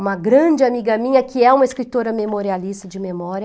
Uma grande amiga minha, que é uma escritora memorialista de memória,